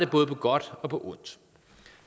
både godt og på ondt